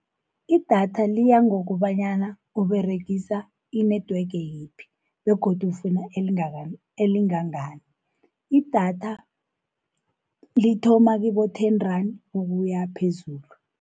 Idatha liya ngokobanyana uberegisa i-network yiphi, begodu ufuna elingangani. Idatha lithoma kibo-ten-rand ukuya phezulu.